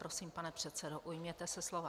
Prosím, pane předsedo, ujměte se slova.